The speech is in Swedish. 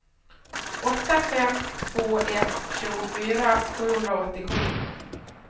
åtta fem två ett tjugofyra sjuhundraåttiosju